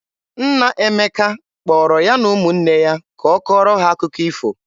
Nna Emeka kpọrọ ya na ụmụnne ya ka ọ kọọrọ ha akụkọ ifo.